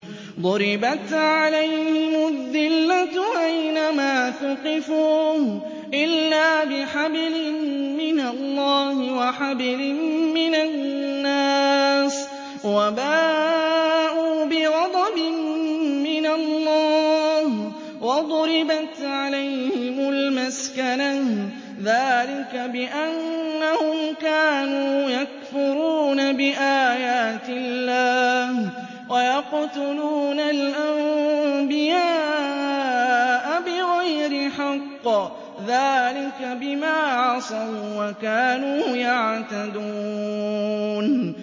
ضُرِبَتْ عَلَيْهِمُ الذِّلَّةُ أَيْنَ مَا ثُقِفُوا إِلَّا بِحَبْلٍ مِّنَ اللَّهِ وَحَبْلٍ مِّنَ النَّاسِ وَبَاءُوا بِغَضَبٍ مِّنَ اللَّهِ وَضُرِبَتْ عَلَيْهِمُ الْمَسْكَنَةُ ۚ ذَٰلِكَ بِأَنَّهُمْ كَانُوا يَكْفُرُونَ بِآيَاتِ اللَّهِ وَيَقْتُلُونَ الْأَنبِيَاءَ بِغَيْرِ حَقٍّ ۚ ذَٰلِكَ بِمَا عَصَوا وَّكَانُوا يَعْتَدُونَ